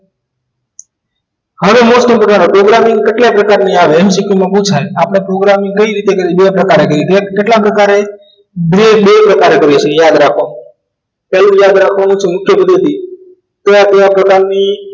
હવે most important programming કેટલા પ્રકારની આવે MCQ માં પુછાય આપણે programming કઈ રીતે બે પ્રકારે કરી કેટલા પ્રકારે બે બે પ્રકારે કરીશું યાદ રાખો પહેલું યાદ રાખવાનું છે મુખ્ય પદ્ધતિ કયા કયા પ્રકારની